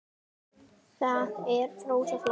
Það er rosa flott.